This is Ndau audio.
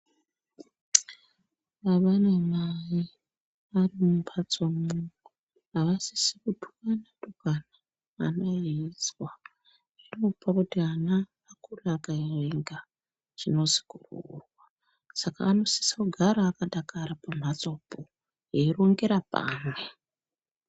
Baba namai varimumbatsomo avasisi kutukana tukana ana eizwa zvinopa kuti ana akure akavenga chinozi kuroorwa saka anosisa kugara akadakara pamhatsopo eirongera pamwe .